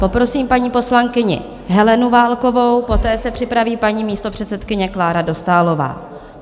Poprosím paní poslankyni Helenu Válkovou, poté se připraví paní místopředsedkyně Klára Dostálová.